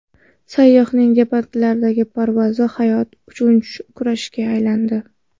Sayyohning deltaplandagi parvozi hayot uchun kurashga aylandi .